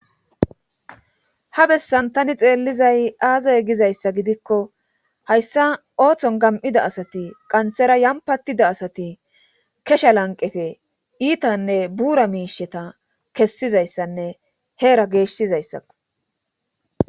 ha bessan tani xeellizay aaze gizayssa gidikko hayssa ooththon gam7ida asati qanthera yampatida asati kesha lanqefe iitanne buura miisheta kessizayssanne heera geeshsizayssakko